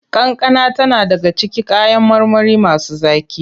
Kankana tana daga cikin kayan marmari masu zaƙi.